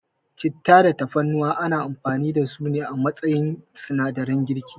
Citta da Tafarnuwa ana amfani da su a matsayin sinadaran girki.